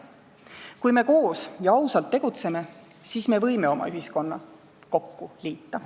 Kui me koos ja ausalt tegutseme, siis me võime oma ühiskonna uuesti kokku liita.